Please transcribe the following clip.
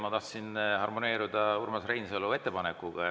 Ma tahtsin harmoneeruda Urmas Reinsalu ettepanekuga.